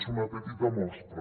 és una petita mostra